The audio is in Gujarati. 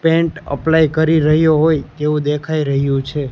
પેઇન્ટ અપ્લાય કરી રહ્યો હોય તેવુ દેખાય રહ્યુ છે.